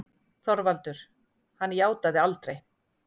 ÞORVALDUR: Hann játaði aldrei.